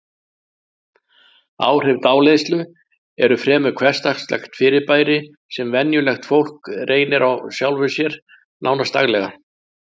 Áhrif dáleiðslu eru fremur hversdagslegt fyrirbæri sem venjulegt fólk reynir á sjálfu sér, nánast daglega.